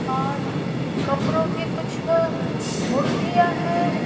और कपड़ों की कुछ मुर्तियां हैं।